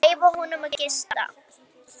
Leyfa honum að gista.